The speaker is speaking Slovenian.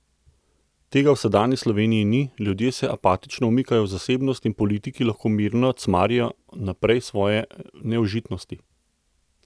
Tega v sedanji Sloveniji ni, ljudje se apatično umikajo v zasebnost in politiki lahko mirno cmarijo naprej svoje neužitnosti.